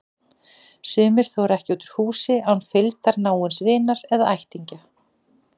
Sumir þora ekki út úr húsi án fylgdar náins vinar eða ættingja.